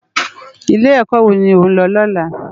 Ilé èkò wó ló n lò lòlá?